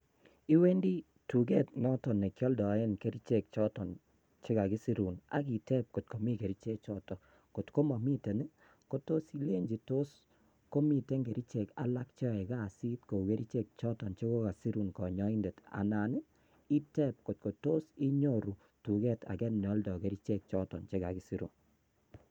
Iwendi tuket noton nikioldoe kerichek choton chekikasirun ak iteb ngot komi keerichek choton. koto momiten itebe ngot kotos komi kerichek alak cheyoe kasit kou kerichek choton chekokakisirun konyoindet. Anan iteb koto tos inyoru tuket age neoldoi kerichek choton chekakisiruun